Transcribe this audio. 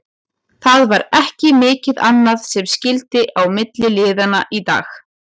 Það var ekki mikið annað sem skyldi á milli liðanna í dag.